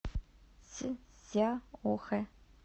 цзяохэ